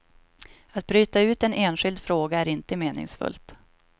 Att bryta ut en enskild fråga är inte meningsfullt.